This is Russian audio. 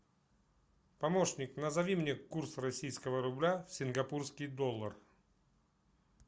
помощник назови мне курс российского рубля в сингапурский доллар